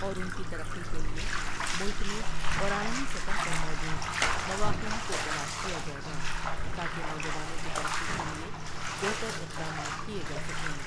اور ان کی ترقی کے لیے ملک میں اور عالمی سطح پر موجود مواقعوں کو تلاش کیاجائے گا تاکہ نوجوانوںٍ کی ترقی کے لیے بہتر اقدامات کیے جاسکیں۔